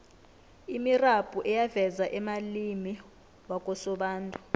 imirabhu eyaveza amalimi wakosobantu